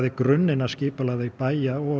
grunninn af skipulagi bæja og